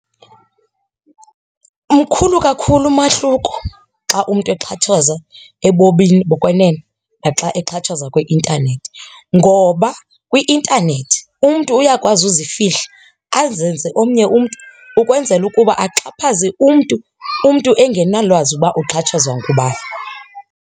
Mkhulu kakhulu umahluko xa umntu exhatshazwa ebomini bokwenene naxa exhatshazwa kwi-intanethi. Ngoba kwi-intanethi umntu uyakwazi ukuzifihla azenze omnye umntu ukwenzela ukuba axhaphaze umntu, umntu engenalwazi uba uxhatshazwa ngubani.